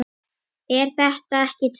Er þetta ekki töff?